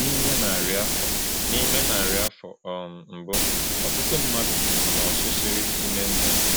N’ime narị afọ N’ime narị afọ um mbụ, ọtụtụ mmadụ nọ n’ọchịchịrị ime mmụọ.